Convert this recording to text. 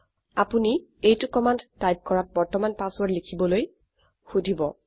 আপোনি এইটি command type কৰাত বৰ্তমান পাছৱৰ্ৰদ লিখিবলৈ সোধিব